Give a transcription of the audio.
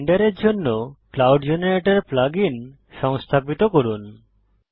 ব্লেন্ডারের জন্য cloud generator plug in সংস্থাপিত করুন